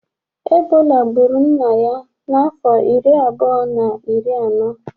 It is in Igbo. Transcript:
Ebọla gburu nna ya na afọ ịrị abụọ na ịrị anọ.